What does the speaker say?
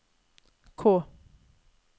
K